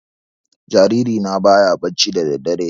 Jariri na baya bacci da daddare